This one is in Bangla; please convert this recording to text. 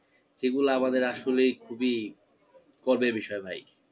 যেগুলো আমাদের আসলেই খুবই গর্বের বিষয় ভাই।